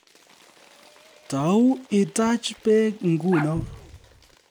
Tou itaach beek nguno